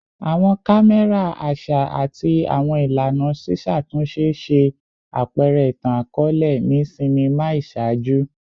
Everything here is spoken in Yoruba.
Awọn kamẹra aṣa ati awọn ilana ṣiṣatunṣe ṣe apẹrẹ itan-akọọlẹ ni sinima iṣaaju